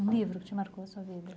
Um livro que te marcou a sua vida?